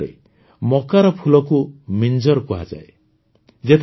ପ୍ରକୃତରେ ମକାର ଫୁଲକୁ ମିଞ୍ଜର୍ କୁହାଯାଏ